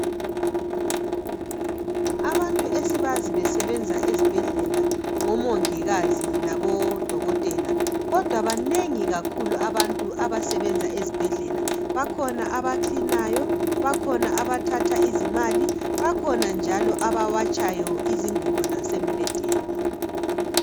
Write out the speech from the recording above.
Abantu esibazi besebenza ezibhedlela ngomongikazi labodokotela kodwa banengi kakhulu abantu abasebenza ezibhedlela. Bakhona abakilinayo, bakhona abathatha izimali, bakhona njalo abawatshayo izingubo zasembhedeni.